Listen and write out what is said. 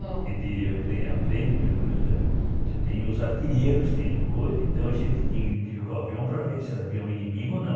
A gente a aprende, pelo menos, que tem os artilheiros, tem o coisa, então a gente tem que identificar o avião para ver se era um avião inimigo ou não.